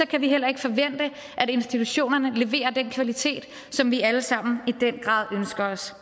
kan vi heller ikke forvente at institutionerne leverer den kvalitet som vi alle sammen i den grad ønsker os